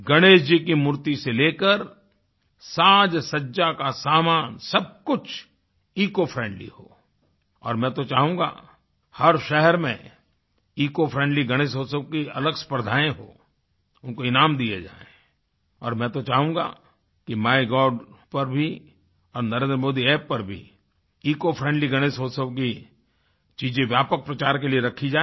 गणेश जी की मूर्ति से लेकर साजसज्जा का सामान सब कुछ इकोफ्रेंडली हो और मैं तो चाहूँगा हर शहर में ईसीओ फ्रेंडली गणेश उत्सव की अलग स्पर्धाएँ हों उनको इनाम दिए जाएँ और मैं तो चाहूँगा कि माइगोव पर भी और नरेंद्र मोदी App पर भी इकोफ्रेंडली गणेशउत्सव की चीज़े व्यापक प्रचार के लिए रखी जाएँ